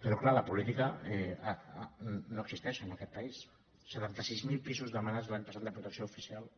però clar la política no existeix en aquest país setanta sis mil pisos demanats l’any passat de protecció oficial